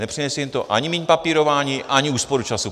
Nepřinese jim to ani míň papírování, ani úsporu času.